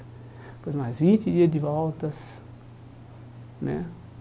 Depois mais vinte dias de voltas né.